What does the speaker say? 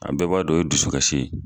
a bɛɛ b'a dɔn o ye dusu kasi ye.